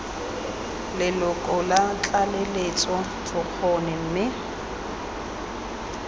leloko la tlaleletso bokgoni mme